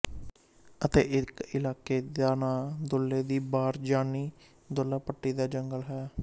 ਅਤੇ ਇੱਕ ਇਲਾਕੇ ਦਾ ਨਾਂ ਦੁੱਲੇ ਦੀ ਬਾਰ ਯਾਨੀ ਦੁੱਲਾ ਭੱਟੀ ਦਾ ਜੰਗਲ ਹੈ